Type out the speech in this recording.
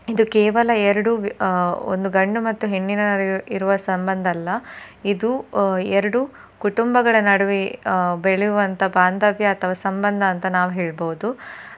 ಇದು ಕೇವಲ ಎರಡು ಆ ಒಂದು ಗಂಡು ಮತ್ತೆ ಹೆಣ್ಣಿನ ನಡುವೆ ಇರುವ ಸಂಬಂಧ ಅಲ್ಲ ಇದು ಆ ಎರಡು ಕುಟುಂಬಗಳ ನಡುವೆ ಆ ಬೆಳಿಯುವಂತ ಬಾಂಧವ್ಯ ಅಥವಾ ಸಂಬಂಧ ಅಂತ ನಾವ್ ಹೇಳ್ಬೋದು.